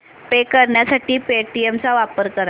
पे करण्यासाठी पेटीएम चा वापर कर